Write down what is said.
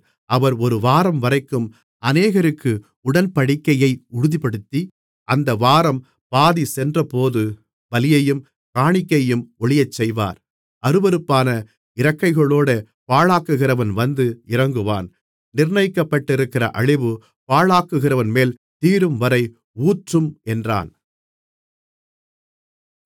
அவர் ஒரு வாரம்வரைக்கும் அநேகருக்கு உடன்படிக்கையை உறுதிப்படுத்தி அந்த வாரம் பாதி சென்றபோது பலியையும் காணிக்கையையும் ஒழியச்செய்வார் அருவருப்பான இறக்கைகளோடே பாழாக்குகிறவன் வந்து இறங்குவான் நிர்ணயிக்கப்பட்டிருக்கிற அழிவு பாழாக்குகிறவன்மேல் தீரும்வரை ஊற்றும் என்றான்